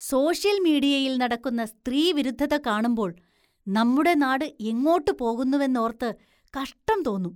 Social‍ മീഡിയയില്‍ നടക്കുന്ന സ്ത്രീവിരുദ്ധത കാണുമ്പോള്‍ നമ്മുടെ നാട് എങ്ങോട്ട് പോകുന്നുവെന്നോര്‍ത്ത് കഷ്ടം തോന്നും.